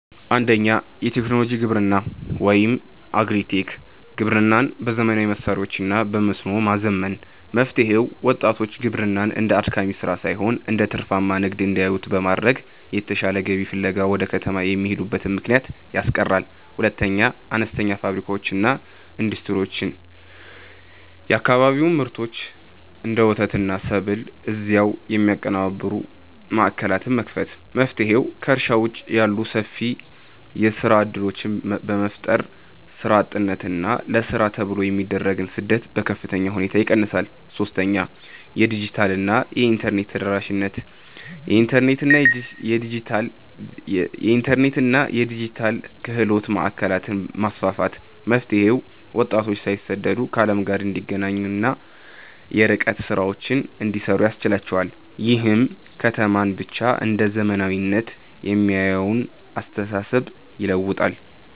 1. የቴክኖሎጂ ግብርና (Agri-Tech) ግብርናን በዘመናዊ መሣሪያዎችና በመስኖ ማዘመን። መፍትሔው፦ ወጣቶች ግብርናን እንደ አድካሚ ሥራ ሳይሆን እንደ ትርፋማ ንግድ እንዲያዩት በማድረግ፣ የተሻለ ገቢ ፍለጋ ወደ ከተማ የሚሄዱበትን ምክንያት ያስቀራል። 2. አነስተኛ ፋብሪካዎችና ኢንዱስትሪዎች የአካባቢውን ምርቶች (እንደ ወተትና ሰብል) እዚያው የሚያቀነባብሩ ማዕከላትን መክፈት። መፍትሔው፦ ከእርሻ ውጭ ያሉ ሰፊ የሥራ ዕድሎችን በመፍጠር፣ ሥራ አጥነትንና ለሥራ ተብሎ የሚደረግን ስደት በከፍተኛ ሁኔታ ይቀንሳል። 3. የዲጂታልና የኢንተርኔት ተደራሽነት የኢንተርኔትና የዲጂታል ክህሎት ማዕከላትን ማስፋፋት። መፍትሔው፦ ወጣቶች ሳይሰደዱ ከዓለም ጋር እንዲገናኙና የርቀት ሥራዎችን እንዲሠሩ ያስችላቸዋል። ይህም ከተማን ብቻ እንደ "ዘመናዊነት" የሚያየውን አስተሳሰብ ይለውጣል።